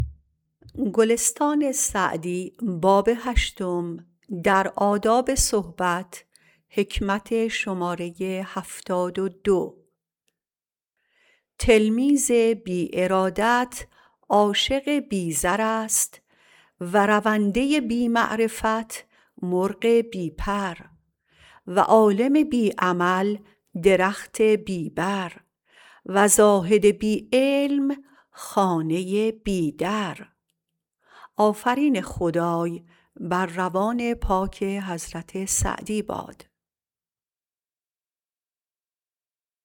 تلمیذ بی ارادت عاشق بی زر است و رونده بی معرفت مرغ بی پر و عالم بی عمل درخت بی بر و زاهد بی علم خانه بی در